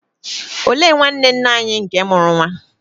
Olee nwanne nne anyi nke mụrụ nwa?